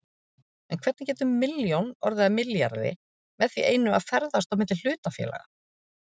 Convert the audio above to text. En hvernig getur milljón orðið að milljarði með því einu að ferðast á milli hlutafélaga?